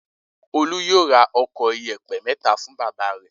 Olú yóò ra ọkọ̀ ìyẹ̀pẹ̀ mẹ́ta fún bàbá rẹ̀!